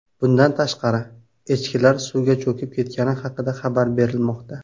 Bundan tashqari, echkilar suvga cho‘kib ketgani haqida xabarlar berilmoqda.